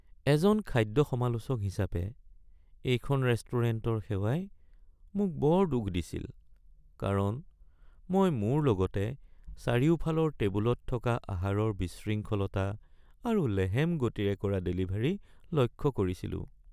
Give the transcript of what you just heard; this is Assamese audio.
এজন খাদ্য সমালোচক হিচাপে, এইখন ৰেষ্টুৰেণ্টৰ সেৱাই মোক বৰ দুখ দিছিল কাৰণ মই মোৰ লগতে চাৰিওফালৰ টেবুলত থকা আহাৰৰ বিশৃংখলতা আৰু লেহেম গতিৰে কৰা ডেলিভাৰী লক্ষ্য কৰিছিলো।